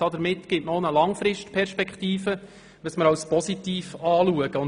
Damit gibt man auch eine Langzeitperspektive, was wir als positiv erachten.